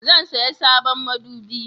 Zan saya sabon madubi